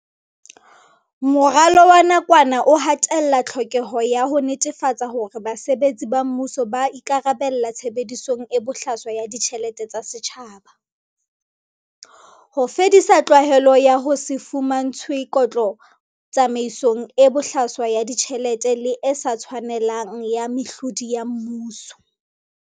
Moralo wa nakwana o ha tella tlhokeho ya ho netefatsa hore basebetsi ba mmuso ba ikarabella tshebedisong e bohlaswa ya ditjhelete tsa setjhaba, ho fedisa tlwaelo ya ho se fumantshwe kotlo tsamaisong e bohlaswa ya ditjhelete le e sa tshwanelang ya mehlodi ya mmuso.